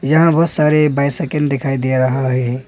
यहां बहोत सारे बाइसाइकिल दिखाई दे रहा है।